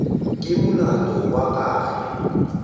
ke molato wa ka ge